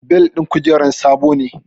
Bel ɗin kujerar sabo ne